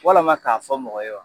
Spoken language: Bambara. Walama k'a fɔ mɔgɔ ye